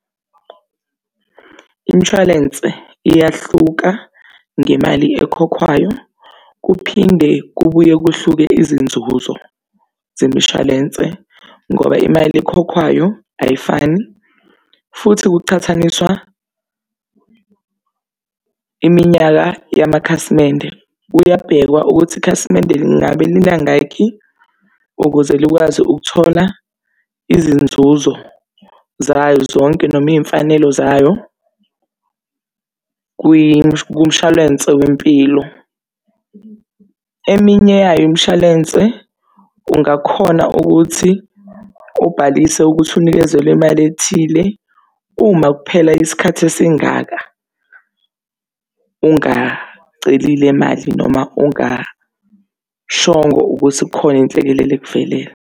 Imshwalense iyahluka ngemali ekhokhwayo kuphinde kubuye kuhluke izinzuzo zemishwalense ngoba imali ekhokhwayo ayifani. Futhi kuchathaniswa iminyaka yamakhasimende, kuyabhekwa ukuthi ikhasimende lingabe linangakhi ukuze likwazi ukuthola izinzuzo zayo zonke. Noma iy'mfanelo zayo kumshwalense wempilo, eminye yayo imshwalense ungakhona ukuthi ubhalise ukuthi unikezwe le mali ethile. Uma kuphela isikhathi esingaka ungacelile mali noma ungashongo ukuthi kukhona inhlekelele ekuvelele.